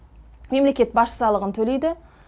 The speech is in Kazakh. мемлекет баж салығын төлейді